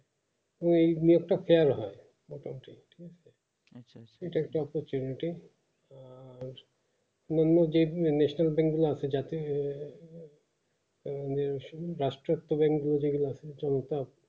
তো এই দিয়ে একটো ফ্যার হয় এটা একটা opportunity মানুষ যে আসে যাতে আমিও রাষ্ট্রতো bank যে গুলো আছে